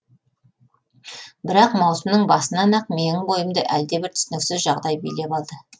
бірақ маусымның басынан ақ менің бойымды әлдебір түсініксіз жағдай билеп алды